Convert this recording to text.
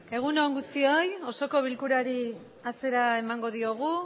egun on guztioi osoko bilkurari hasiera emango diogu